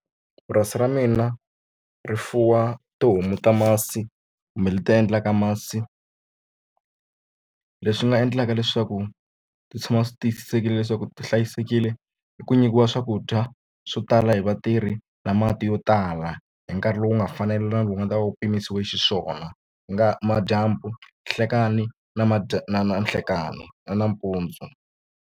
Purasi ra mina ri fuwa tihomu ta masi kumbe leti endlaka masi leswi nga endlaka leswaku ti tshama swi tiyisisekile leswaku ti hlayisekile hi ku nyikiwa swakudya swo tala hi vatirhi na mati yo tala hi nkarhi lowu nga fanela na lowu wu nga ta va wu pimanisiwe xiswona ku nga ha va madyambu nhlekani ni na na nhlekani na nampundzu.